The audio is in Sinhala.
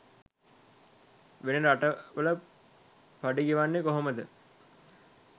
වෙන රට වල පඩි ගෙවන්නේ කොහමද